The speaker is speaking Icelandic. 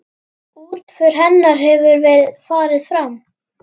Útför hennar hefur farið fram.